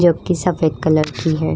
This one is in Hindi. जो कि सफेद कलर की है।